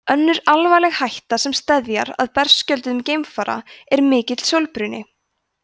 önnur alvarleg hætta sem steðjar að berskjölduðum geimfara er mikill sólbruni